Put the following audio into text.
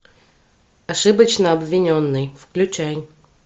ошибочно обвиненный включай